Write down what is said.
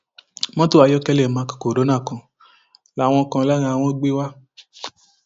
mọtò ayọkẹlẹ mark corona kan làwọn kan lára wọn gbé wá